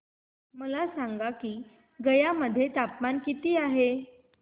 मला सांगा की गया मध्ये तापमान किती आहे